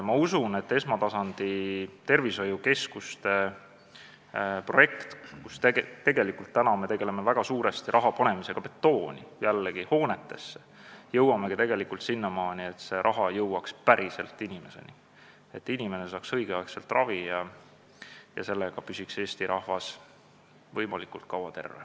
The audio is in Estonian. Ma usun, et esmatasandi tervishoiukeskuste projekt – tegelikult me tegeleme seal väga suuresti raha panemisega jällegi betooni, hoonetesse – jõuab sinnamaani, et see raha läheb päriselt inimeste heaks, et inimesed saavad õigel ajal ravi ja Eesti rahvas püsib võimalikult kaua terve.